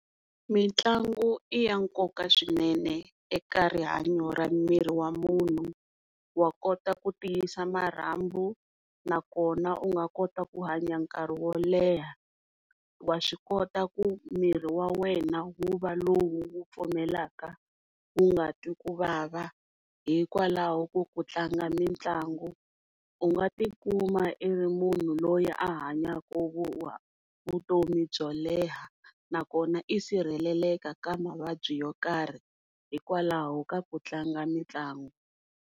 Mitlangu i ya nkoka swinene eka rihanyo ra miri wa munhu, wa kota ku tiyisa marhambu nakona u nga kota ku hanya nkarhi wo leha, wa swi kota ku miri wa wena wu va lowu wu pfumelaka wu nga twi ku vava hikwalaho ko ku tlanga mitlangu u nga tikuma u ri munhu loyi u hanyaka vutomi byo leha nakona i sirheleleka ka mavabyi yo karhi hikwalaho ka ku tlanga mitlangu.